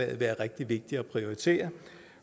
være rigtig vigtigt at prioritere